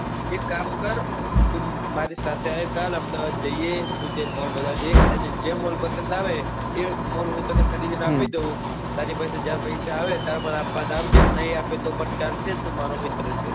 એક કામ કર તું મારી સાથે આવ કાલે અમદાવાદ જઈએ બધા mall જોઈએ તને જે. mall પસંદ આવે એક mall હું તને ખરીદી ને આપું તારી પાસે જયારે પૈસા આવે ત્યારે તું મને પાછા આપજે નાઈ આપે તો પણ ચાલશે તું મારો મીત્ર છે.